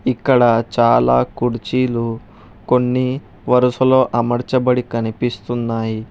ఇక్కడ చాలా కుర్చీలు కొన్ని వరుసలో అమరచబడి కనిపిస్తున్నాయి.